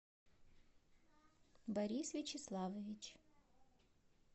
борис вячеславович